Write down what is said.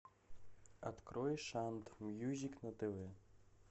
открой шант мьюзик на тв